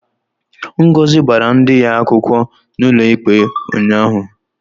Ngozi gbara di ya akwukwo n'ụlọikpe a ụnyahụ.